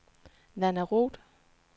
Nanna Roed